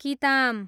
किताम